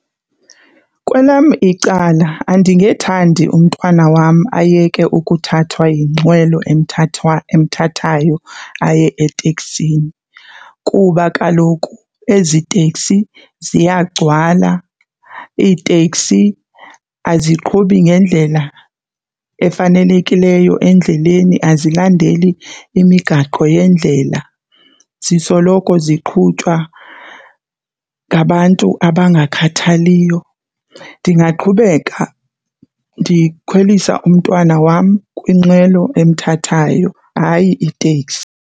Kwelam icala andingethandi umntwana wam ayeke ukuthathwa yinqwelo emthathayo aye etekisini kuba kaloku ezi teksi ziyagcwala. Iiteksi aziqhubi ngendlela efanelekileyo endleleni azilandeli imigaqo yendlela, zisoloko ziqhutywa ngabantu abangakhathaliyo. Ndingaqhubeka ndikhwelisa umntwana wam kwinqwelo emthathayo, hayi iteksi.